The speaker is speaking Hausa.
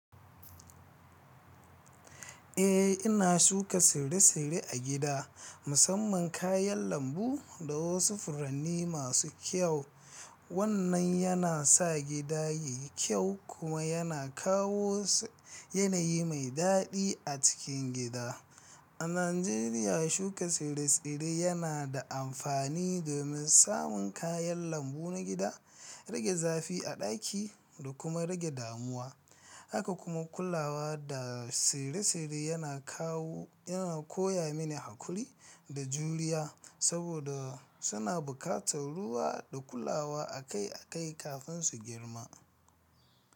Eh ina shuka tsire-tsire a gida, musamman kayan lambu da wasu furanni masu kyau. Wannan yana sa gida yayi kyau kuma yana kawo yanayi mai daɗi a cikin gida. A Najeriya, shuka tsire-tsire yana da amfani domin samun kayan lambu na gida, rage zafi a ɗaki da kuma rage damuwa. Haka kuma kulawa da tsire-tsire yana kawo yana koyamine haƙuri da juriya, saboda suna bukatar ruwa da kulawa akai-akai kafin su girma.